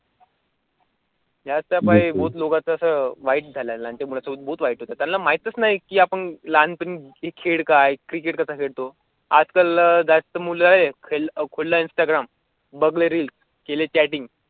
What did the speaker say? त्याच्या पायाभूत लोकांचं असं फ्लाइट चालेल आणि त्यामुळे त्यांना माहीतच नाही की आपण लहान तुम्हीखेड काय क्रिकेट करता येतो? आजकाल जास्त मुलं आहेत, पणला इन्स्टाग्राम बघेल केले चॅटिंग.